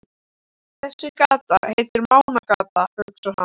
Þessi gata heitir Mánagata, hugsar hann.